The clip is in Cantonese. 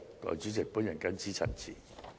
代理主席，我謹此陳辭。